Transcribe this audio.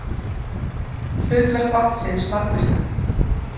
Hlutverk vatnsins margvíslegt.